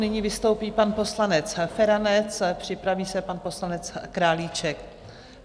Nyní vystoupí pan poslanec Feranec, připraví se pan poslanec Králíček.